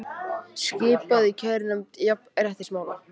Skipað í kærunefnd jafnréttismála